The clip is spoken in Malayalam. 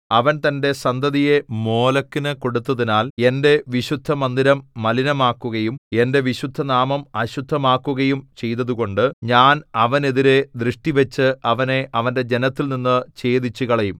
അവൻ തന്റെ സന്തതിയെ മോലെക്കിനു കൊടുത്തതിനാൽ എന്റെ വിശുദ്ധമന്ദിരം മലിനമാക്കുകയും എന്റെ വിശുദ്ധനാമം അശുദ്ധമാക്കുകയും ചെയ്തതുകൊണ്ട് ഞാൻ അവനെതിരെ ദൃഷ്ടിവച്ച് അവനെ അവന്റെ ജനത്തിൽനിന്നു ഛേദിച്ചുകളയും